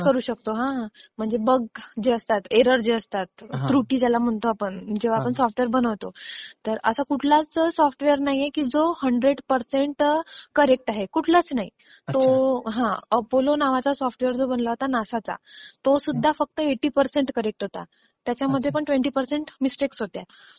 करू शकतो म्हणजे बग जे असतात, एरर जे असतात, त्रुटी ज्याला म्हणतो आपण, जेंव्हा आपण सॉफ्टवेअर बनवतो, तर असा कुठलाच सॉफ्टवेअर नाहीए जो हंड्रेड पर्सेंट करेक्ट आहे. कुठलाच नाही. तो अपोलो नावाचा सॉफ्टवेअर जो बनला होता नासा चा, तो सुद्धा फक्त एटी पर्सेंट करेक्ट होता. त्याच्यामध्ये पण ट्वेन्टी पर्सेंट मिस्टेक होत्या.